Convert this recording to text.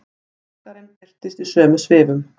Braskarinn birtist í sömu svifum.